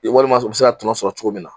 walima a be se ka tɔnɔ sɔrɔ cogo min na